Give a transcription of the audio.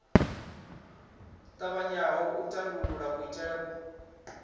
ṱavhanyaho u tandulula kuitele ku